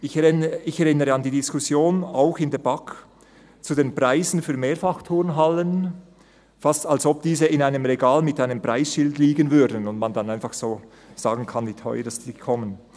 Ich erinnere an die Diskussion – auch in der BaK – über die Preise für Mehrfachturnhallen, fast als lägen diese in einem Regal mit einem Preisschild und man könnte dann einfach so sagen, wie teuer sie werden.